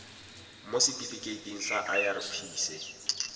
mo setifikeiting sa irp se